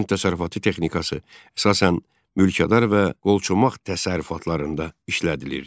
Kənd təsərrüfatı texnikası əsasən mülkədar və qolçomaq təsərrüfatlarında işlədilirdi.